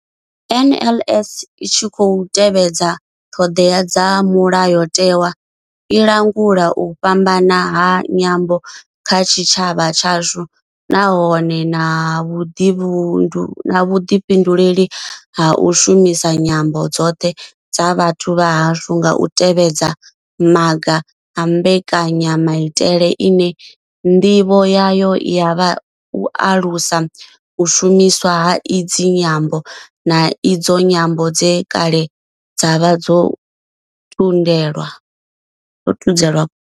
NLS I tshi khou tevhedza ṱhodea dza mulayotewa, i langula u fhambana ha nyambo kha tshitshavha tshashu nahone I na vhuḓifhinduleli ha u shumisa nyambo dzoṱhe dza vhathu vha hashu nga u tevhedza maga a mbekanyamaitele ine ndivho yayo ya vha u alusa u shumiswa ha idzi nyambo, na idzo nyambo dze kale dza vha dzo thudzelwa kule.